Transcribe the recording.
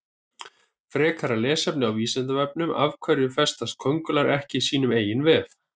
Frekara lesefni á Vísindavefnum Af hverju festast köngulær ekki í sínum eigin vef?